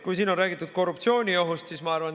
Siin on räägitud korruptsiooniohust.